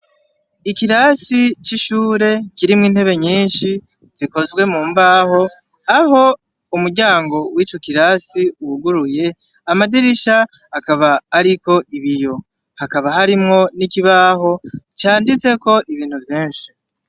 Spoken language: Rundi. Ikirasi c'ishure kirimwo intebe nyinshi zikozwe mu mbaho aho umuryango w'ico kirasi wuguruye amadirisha akaba ariko ibiyo, hakaba harimwo n'ikibaho canditseko ibintu vyinshi.